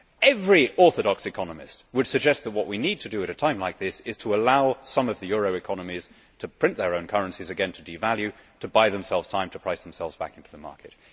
Every orthodox economist would suggest that what we need to do at a time like this is to allow some of the eurozone economies to print their own currencies again, to devalue, to buy themselves time to price themselves back into the market.